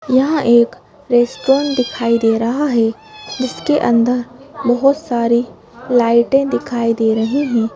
यहाँ एक रेस्टोरेंट दिखाई दे रहा है जिसके अंदर बहुत सारी लाइटें दिखाई दे रही हैं।